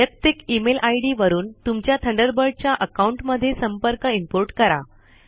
वैयक्तिक email ID वरून तुमच्या थंडरबर्ड च्या आकाउंट मध्ये संपर्क इम्पोर्ट करा